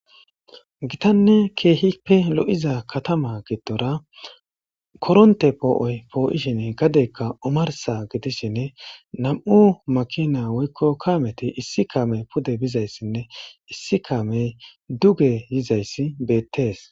Gitanne keehippe lo'iza katama giddora koronte poo'oy poo'ishinne gadeykka omarsa gidishinne nam'u makina woykko kaameti issi kaame pude bizayssinne issi kaamey duge yizayssi beettees